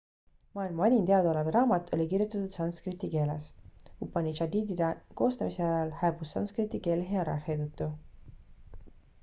maailma vanim teadaolev raamat oli kirjutatud sanskriti keeles upanišadide koostamise järel hääbus sankskriti keel hierarhia tõttu